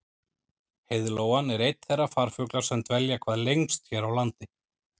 Heiðlóan er einn þeirra farfugla sem dvelja hvað lengst hér á landi.